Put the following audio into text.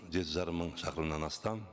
жеті жарым мың шақырымнан астам